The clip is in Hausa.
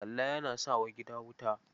Kalla yana sanya wa gina wuta.